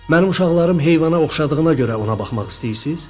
Mənim uşaqlarım heyvana oxşadığına görə ona baxmaq istəyirsiz?